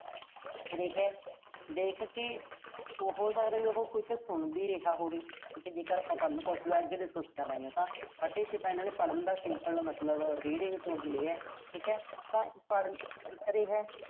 ਰਿਹਾ। ਦੇਖ ਕੇ, ਉਹੋ ਸ਼ਾਇਦ ਕੁਸ਼ ਸੁਣ ਵੀ ਰਿਹਾ ਹੋਵੇ। ਠੀਕਾ ਜੇ ਆਪਾਂ ਪੜ੍ਹਨ ਕੌਸ਼ਲ ਅਹ ਅੱਗੇ discuss ਕਰਾਂਗੇ ਉਹ ਤਾਂ। ਇਥੇ ਤਾਂ ਇਨ੍ਹਾਂ ਨੇ ਪੜ੍ਹਨ ਦਾ simple ਮਤਲਬ reading ਤੋਂ ਹੀ ਲਿਆ। ਠੀਕਾ ਤਾਂ ਪੜ੍ਹ ਅਹ ਰਿਹਾ।